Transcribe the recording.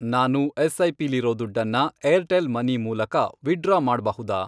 ನಾನು ಎಸ್.ಐ.ಪಿ.ಲಿರೋ ದುಡ್ಡನ್ನ ಏರ್ಟೆಲ್ ಮನಿ ಮೂಲಕ ವಿತ್ಡ್ರಾ ಮಾಡ್ಬಹುದಾ?